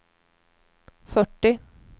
fyrtio